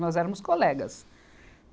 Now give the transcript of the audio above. Nós éramos colegas.